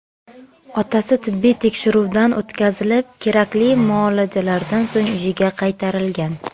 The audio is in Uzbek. Otasi tibbiy tekshiruvdan o‘tkazilib, kerakli muolajalardan so‘ng uyiga qaytarilgan.